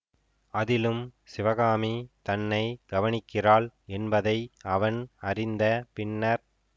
அதிலும் சிவகாமி தன்னை கவனிக்கிறாள் என்பதை அவன் அறிந்த பின்னர்